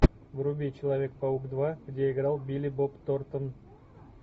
вруби человек паук два где играл билли боб торнтон